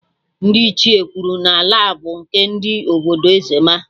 Ndị Ichie kwuru n'ala bụ nke ndị obodo ezzmma